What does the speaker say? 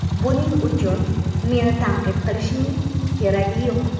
Buning uchun meni tanqid qilishning keragi yo‘q.